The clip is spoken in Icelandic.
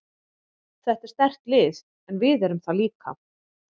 Þetta er sterkt lið en við erum það líka.